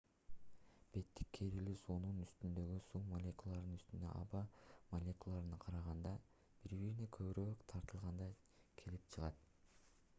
беттик керилүү суунун үстүндөгү суу молекулалары үстүндөгү аба молекулаларына караганда бири-бирине көбүрөөк тартылганда келип чыгат